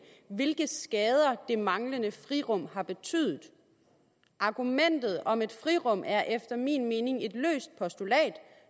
hvilke skader det manglende frirum har betydet argumentet om et frirum er efter min mening et løst postulat